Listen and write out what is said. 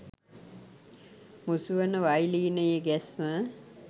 මුසු වන වයලීනයේ ගැස්ම